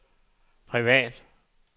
privat